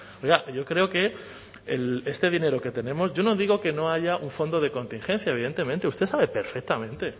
oiga yo creo que este dinero que tenemos yo no digo que no haya un fondo de contingencia evidentemente usted sabe perfectamente